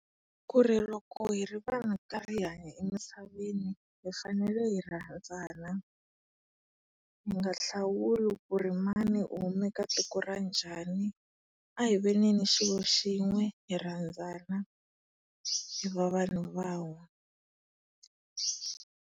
Kuri loko hi ri vanhu hi ri karhi hi hanya emisaveni hi fanele hi rhandzana. Hi nga hlawuli ku ri mani u huma eka tiko ra njhani, a hi veneni xilo xin'we, hi rhandzana, hi va vanhu van'we.